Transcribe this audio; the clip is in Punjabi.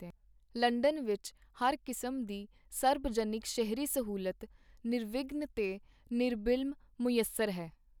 ਲੰਡਨ ਵਿਚ ਹਰ ਕਿਸਮ ਦੀ ਸਰਬ-ਜਨਿਕ ਸ਼ਹਿਰੀ ਸਹੂਲਤ ਨਿਰਵਿਘਨ ਤੇ ਨਿਰਬਿਲਮ ਮੁਯੱਸਰ ਹੈ.